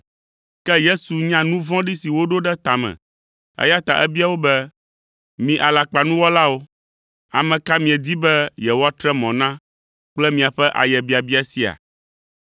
Ke Yesu nya nu vɔ̃ɖi si woɖo ɖe ta me, eya ta ebia wo be, “Mi alakpanuwɔlawo! Ame ka miedi be yewoatre mɔ na kple miaƒe ayebiabia sia?